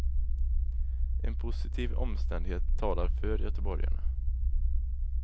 En positiv omständighet talar för göteborgarna.